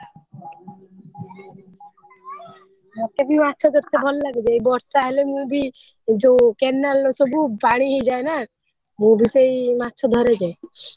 ମତେ ବି ମାଛ ଭଲ ଲଗୁଛି ଏଇ ବର୍ଷା ହେଲେ ମୁ ବି ଯୋଉ କେନାଲ ସବୁ ପାଣିହେଇଯାଏ ମୁ ବିସେଇ ମାଛ ଧରେ ଯାଇ।